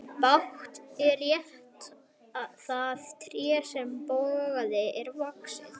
Bágt er rétta það tré sem bogið er vaxið.